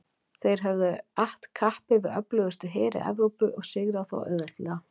þeir höfðu att kappi við öflugustu heri evrópu og sigrað þá auðveldlega